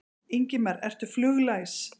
Ingimar: Ertu fluglæs?